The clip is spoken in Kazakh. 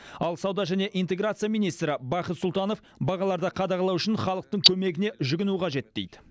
ал сауда және интеграция министрі бақыт сұлтанов бағаларды қадағалау үшін халықтың көмегіне жүгіну қажет дейді